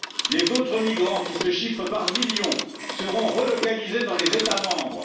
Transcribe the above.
Les autres migrants, qui se chiffrent par millions, seront relocalisés dans les États membres.